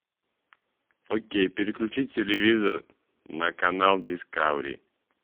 окей переключи телевизор на канал дискавери